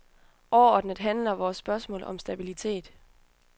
Overordnet handler vores spørgsmål om stabilitet.